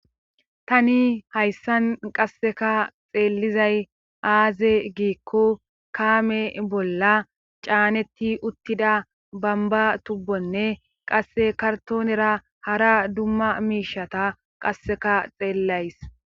tani hayssan qasseka xeellizay aaze giikko kaame bolla caanetti uttida bamba tubbonne qasse kartoonera hara dumma miishata qasseka xeellays